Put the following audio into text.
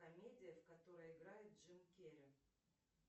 комедия в которой играет джим керри